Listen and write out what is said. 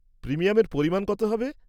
-প্রিমিয়ামের পরিমাণ কত হবে?